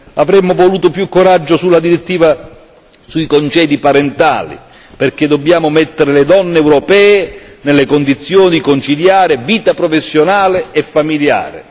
Avremmo voluto più coraggio sulla direttiva sui congedi parentali, perché dobbiamo mettere le donne europee nelle condizioni di conciliare vita professionale e familiare.